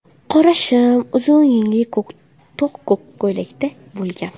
Qora shim, uzun yengli to‘q ko‘k ko‘ylakda bo‘lgan.